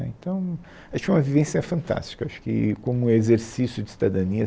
Né, então, eu acho que foi uma vivência fantástica, acho que como um exercício de cidadania.